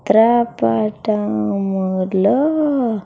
చిత్ర పటం లో.